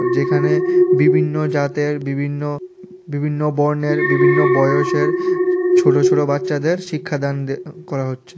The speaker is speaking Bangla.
যেখানে বিভিন্ন জাতের বিভিন্ন বিভিন্ন বর্ণের বিভিন্ন বয়সের ছোট ছোট বাচ্চাদের শিক্ষাদান করা হচ্ছে।